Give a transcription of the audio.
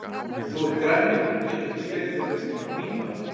En þú ert grænmeti og getur ekki skreytt fyrir veisluna MÍNA.